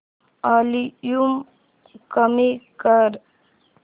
volume कमी कर